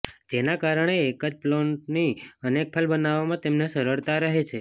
જેના કારણે એક જ પ્લોટની અનેક ફાઇલ બનાવવામાં તેમને સરળતા રહે છે